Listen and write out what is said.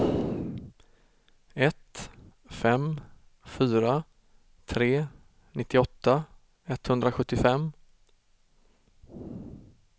ett fem fyra tre nittioåtta etthundrasjuttiofem